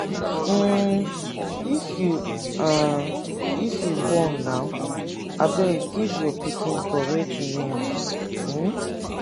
um if you um if you born now abeg give your pikin correct name. um